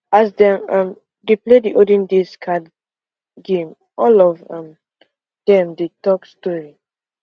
as dem um dey play the olden days card game all of um dem dey talk story